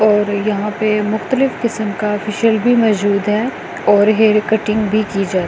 और यहां पर मुक्तलिफ किस्म का फेशियल भी मौजूद है और हेयर कटिंग भी की जाती है।